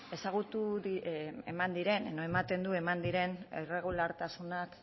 eman diren irregulartasunak